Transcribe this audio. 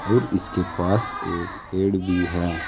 और इसके पास एक पेड़ भी है।